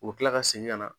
U bɛ tila ka segin ka na